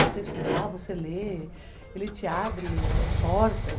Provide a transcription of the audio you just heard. Você estudar, você ler, ele te abre as portas.